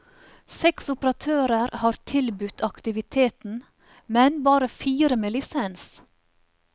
Seks operatører har tilbudt aktiviteten, men bare fire med lisens.